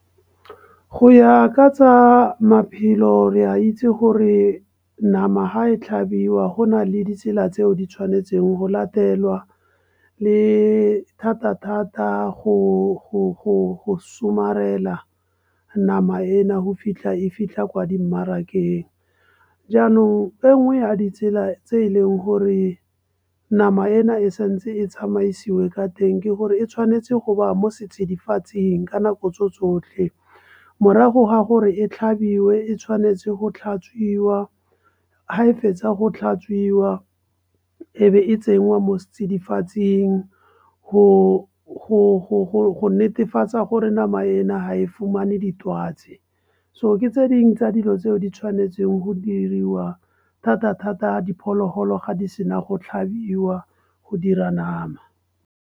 Go ya ka tsa maphelo re a itse gore nama ga e tlhabiwa, go na le ditsela tseo ditshwanetseng go latelwa. Le thata-thata go somarela nama ena go fitlha e fitlha kwa dimmarakeng. Jaanong e nngwe ya ditsela tse e leng gore nama ena e sa ntse e tsamaisiwe ka teng, ke gore e tshwanetse go ba mo setsidifatsing ka nako tso tsotlhe. Morago ga gore e tlhabiwe, e tshwanetse go tlhatswiwa, ga e fetsa go tlhatswiwa e be e tsenngwa mo setsidifatsing. Go netefatsa gore nama ena ha e fumane ditwatsi. So ke tse dingwe tsa dilo tseo ditshwanetseng go diriwa thata-thata diphologolo ga di sena go tlhabiwa go dira nama.